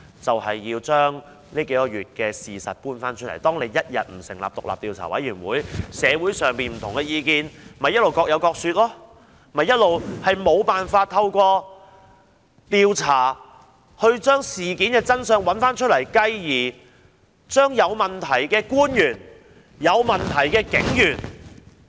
就是要將過去數月的事實重新鋪陳，如果不成立獨立調查委員會，社會上不同的意見便各有各說，無法透過調查找出事件的真相，繼而制裁有問題的官員和警員。